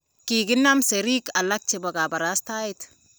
kikinam serik alak chebo kabarastae